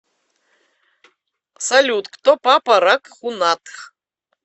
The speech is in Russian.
салют кто папа рагхунатх